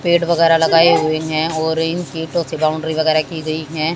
पेड़ वगैरा लगाए हुए हैं और इनकी बाउंड्री वगैरा की गई हैं।